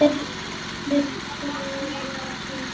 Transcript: Myrkrið var svo þykkt.